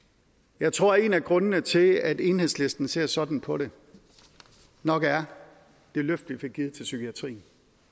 jeg tror at en af grundene til at enhedslisten ser sådan på det nok er det løft vi fik givet til psykiatrien